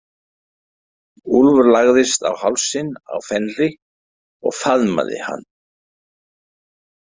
Úlfur lagðist á hálsinn á Fenri og faðmaði hann.